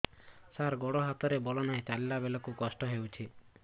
ସାର ଗୋଡୋ ହାତରେ ବଳ ନାହିଁ ଚାଲିଲା ବେଳକୁ କଷ୍ଟ ହେଉଛି